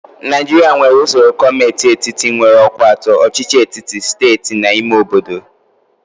Naijiria nwere usoro gọọmentị etiti nwere ọkwa atọ: ọchịchị etiti, steeti na ime obodo.